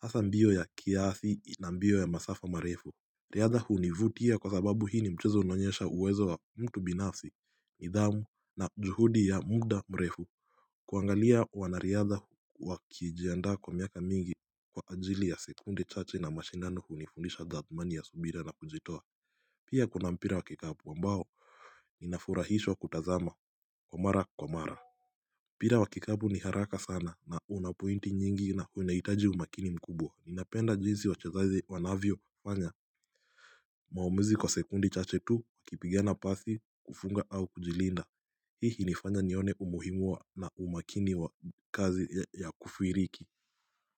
hasa mbio ya kiasi na mbio ya masafa marefu Riadha hunivutia kwa sababu hii ni mchezo unaonyesha uwezo wa mtu binafsi nidhamu na juhudi ya muda mrefu kuangalia wa na riadha huu wakijianda kwa miaka mingi Kwa ajili ya sekunde chache na mashindano hunifunisha dhamani ya subira na kujitoa pia kuna mpira wa kikapu ambao nafurahishwa kutazama kwa mara kwa mara mpira wakikapu ni haraka sana na unapointi nyingi na unahitaji umakini mkubwa ninapenda jinsi wachezaji wanavyo fanya maamuzi kwa sekunde chache tu wakipigana pasi kufunga au kujilinda hii nifanya nione umuhimu wa na umakini wa kazi ya kufuiriki.